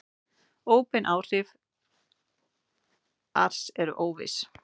Óbein áhrif ars eru óviss.